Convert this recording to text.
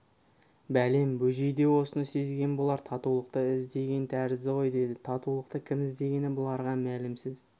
бәлем бөжей де осыны сезген болар татулықты іздеген тәрізді ғой деді татулықты кім іздегені бұларға мәлімсіз